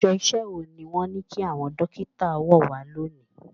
Aṣọ iṣẹ́ wo ni wọ́n ní kí àwọn Dókítà wọ̀ wá lónìí?